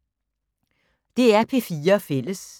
DR P4 Fælles